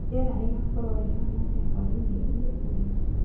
rĩera rĩgakorũo rĩhaana atĩa hwaĩ-inĩ ũyũ